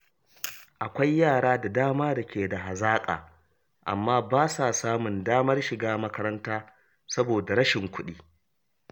Akwai yara da dama da ke da hazaƙa amma ba sa samun damar shiga makaranta saboda rashin kuɗi.